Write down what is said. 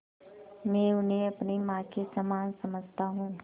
मैं उन्हें अपनी माँ के समान समझता हूँ